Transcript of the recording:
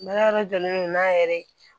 Baara yɔrɔ jɔlen don n'a yɛrɛ